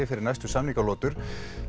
fyrir næstu samningalotur